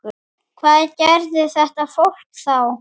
Hvað gerði þetta fólk þá?